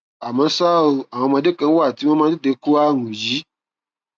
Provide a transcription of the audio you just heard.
àmọ ṣá o àwọn ọmọdé kan wà tí wọn máa ń tètè kó ààrùn yìí